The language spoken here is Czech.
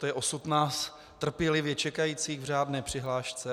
To je osud nás trpělivě čekajících v řádné přihlášce.